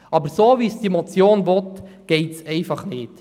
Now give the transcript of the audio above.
Aber so, wie die Motion es möchte, geht es einfach nicht.